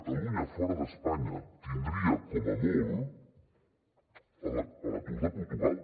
catalunya fora d’espanya tindria com a molt l’atur de portugal